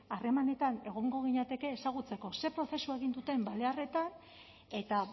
harremanetan egongo ginateke ezagutzeko ze prozesu egin duten balearretan eta